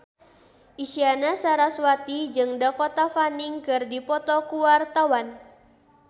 Isyana Sarasvati jeung Dakota Fanning keur dipoto ku wartawan